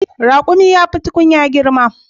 Raƙumi yafi tunkiya girma.